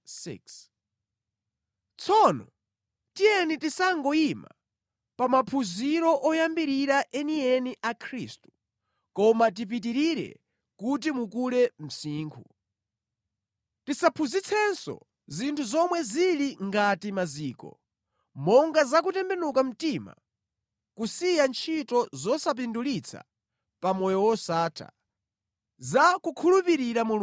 Tsono tiyeni tisangoyima pa maphunziro oyambirira enieni a Khristu koma tipitirire kuti mukule msinkhu. Tisaphunzitsenso zinthu zomwe zili ngati maziko, monga za kutembenuka mtima kusiya ntchito zosapindulitsa pa moyo wosatha, za kukhulupirira Mulungu,